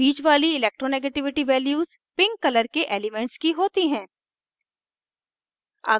बीच वाली electronegativity values pink color के elements की होती हैं